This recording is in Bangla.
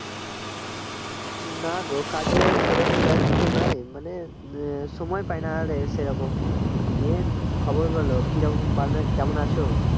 নাগো কাজে সেরকম ব্যস্ত নাই মানে সময় পাই না আর সেরকম main খবর বলো কী রকম বা কেমন আছো